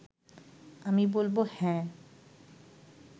আমি বলব হ্যাঁ